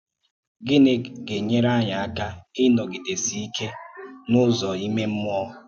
Gịnị gà-ènỵèrè anyị aka ínọ̀gìdésí íké n’ùzò ìmè mmúò?